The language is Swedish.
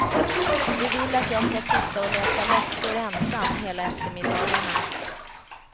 De vill att jag skall sitta och läsa läxor ensam hela eftermiddagarna.